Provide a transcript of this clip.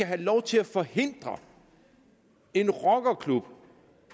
have lov til at forhindre en rockerklub